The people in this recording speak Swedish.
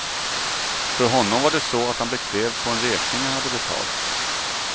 För honom var det så att han blev krävd på en räkning han hade betalt.